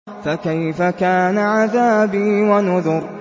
فَكَيْفَ كَانَ عَذَابِي وَنُذُرِ